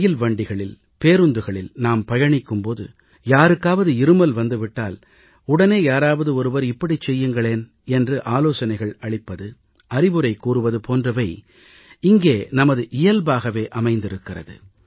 ரயில் வண்டிகளில் பேருந்துகளில் நாம் பயணிக்கும் போது யாருக்காவது இருமல் வந்து விட்டால் உடனே யாராவது ஒருவர் இப்படிச் செய்யுங்கள் என்று ஆலோசனைகள் அளிப்பது அறிவுரை கூறுவது போன்றவை இங்கே நமது இயல்பாகவே அமைந்திருக்கிறது